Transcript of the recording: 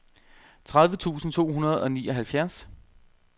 tredive tusind to hundrede og nioghalvfjerds